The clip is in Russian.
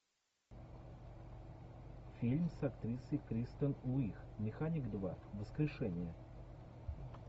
фильм с актрисой кристен уиг механик два воскрешение